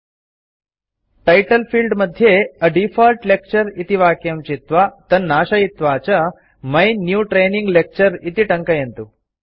title field मध्ये A default lecture इति वाक्यं चित्वा तन्नाशयित्वा च माई न्यू ट्रेनिंग लेक्चर इति टङ्कयन्तु